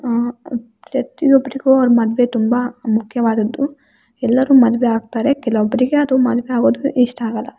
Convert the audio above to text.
ಅ ಪ್ರತಿಯೊಬ್ರಿಗೂ ಒಂದು ಮದುವೆ ತುಂಬಾ ಮುಖ್ಯವಾದದು ಎಲ್ಲರೂ ಮದುವೆಯಾಗ್ತಾರೆ ಕೆಲವೊಬ್ರಿಗೆ ಅದು ಮದುವೆ ಆಗೋದು ಇಷ್ಟ ಆಗಲ್ಲ.